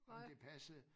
At det passede